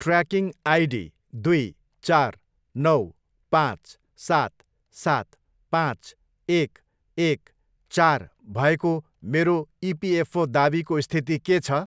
Tracking ID दुइ, चार, नौ, पाँच, सात, सात, पाँच, एक, एक, चार भएको मेरो इपिएफओ दावीको स्थिति के छ?